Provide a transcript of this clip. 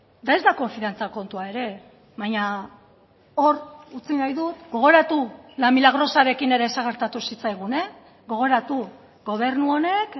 eta ez da konfiantza kontua ere baina hor utzi nahi dut gogoratu la milagrosarekin ere zer gertatu zitzaigun gogoratu gobernu honek